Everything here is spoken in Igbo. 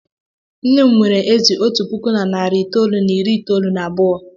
Nne m nwere ezì otu puku na narị itoolu na iri itoolu na abụọ.